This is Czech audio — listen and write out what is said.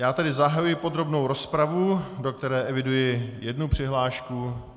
Já tedy zahajuji podrobnou rozpravu, do které eviduji jednu přihlášku.